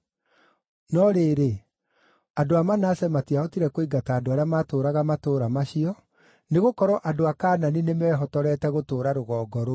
No rĩrĩ, andũ a Manase matiahotire kũingata andũ arĩa maatũũraga matũũra macio, nĩgũkorwo andũ a Kaanani nĩmehotorete gũtũũra rũgongo rũu.